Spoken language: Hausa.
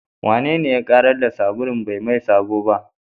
Wanene ya ƙarar da sabulun bai maye sabo ba?